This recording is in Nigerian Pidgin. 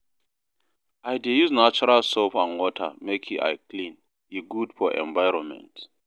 I dey use natural soap and water make I clean, e good for environment.